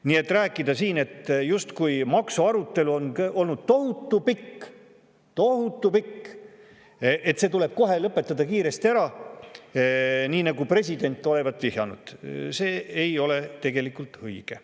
Nii et rääkida siin, justkui maksuarutelu on olnud tohutu pikk – tohutu pikk – ja see tuleb kohe kiiresti ära lõpetada, nii nagu president olevat vihjanud, see ei ole tegelikult õige.